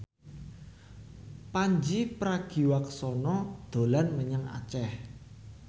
Pandji Pragiwaksono dolan menyang Aceh